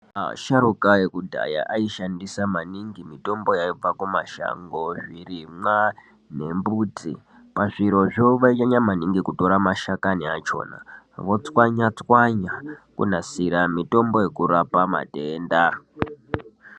Asharukwa ekudhaya aishandisa maningi mitombo yaibva kumashango, zvirimwa nembuti. Pazvirozvo vainyanya .maningi kutora mashakani achona votswanya tswanya kunasira mutombo wekurapa matenda.